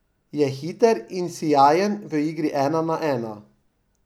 Je hiter in sijajen v igri ena na ena.